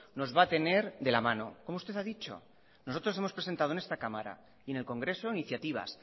nos va a tener de la mano como usted ha dicho nosotros hemos presentado en esta cámara y en el congreso iniciativas